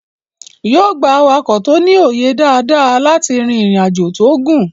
yóò gbà awakọ̀ tí o ní òye dada láti rí ìrìn ajọ tíó gún